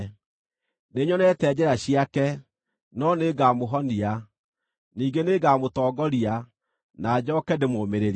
Nĩnyonete njĩra ciake, no nĩngamũhonia; ningĩ nĩngamũtongoria, na njooke ndĩmũũmĩrĩrie,